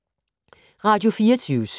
Radio24syv